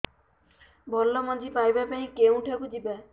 ଭଲ ମଞ୍ଜି ପାଇବା ପାଇଁ କେଉଁଠାକୁ ଯିବା